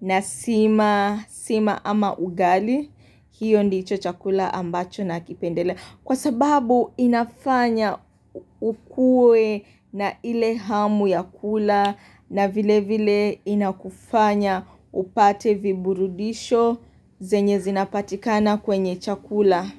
na sima ama ugali hiyo ndicho chakula ambacho nakipendelea kwa sababu inafanya ukue na ile hamu ya kula na vilevile inakufanya upate viburudisho zenye zinapatikana kwenye chakula.